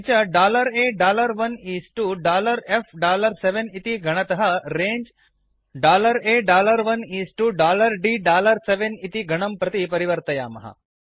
किञ्च A1 इस् तो F7 इति गणतः A1 इस् तो D7 इति गणं प्रति परिवर्तयामः